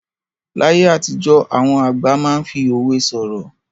Láyé àtijọ́, àwọn àgbà máa ń fi òwe sọ̀rọ̀.